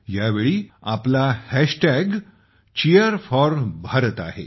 यावेळी आपला hashtag Cheer4Bharat आहे